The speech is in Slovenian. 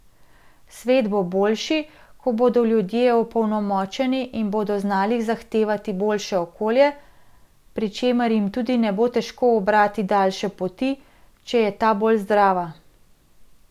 Svet bo boljši, ko bodo ljudje opolnomočeni in bodo znali zahtevati boljše okolje, pri čemer jim tudi ne bo težko ubrati daljše poti, če je ta bolj zdrava.